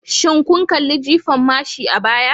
Shin kun kalli jifan mashi a baya?